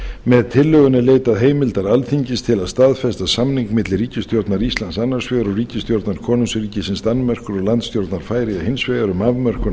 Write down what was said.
með tillögunni er leitað heimildar alþingis til að staðfesta samning milli ríkisstjórnar íslands annars vegar og ríkisstjórnar konungsríkisins danmerkur og landstjórnar færeyja hins vegar um afmörkun